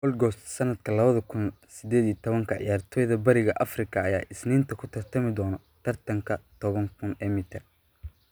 Gold Goast 2018: Ciyaartoyda Bariga Afrika ayaa Isniinta ku tartami doona tartanka 10,000 ee mitir